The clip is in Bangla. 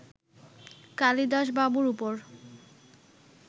কালিদাসবাবুর উপর